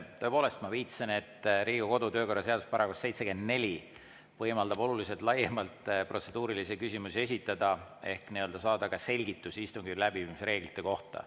Tõepoolest, ma viitasin, et Riigikogu kodu‑ ja töökorra seaduse § 74 võimaldab oluliselt laiemalt protseduurilisi küsimusi esitada ehk saada selgitust istungi läbiviimise reeglite kohta.